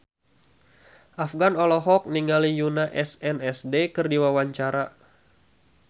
Afgan olohok ningali Yoona SNSD keur diwawancara